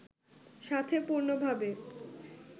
সাথে পূর্ণভাবে